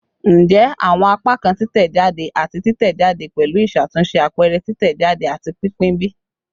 Njẹ awọn apakan titẹjade ati titẹjade pẹlu iṣatunṣe, apẹrẹ, titẹjade, ati pinpin bi?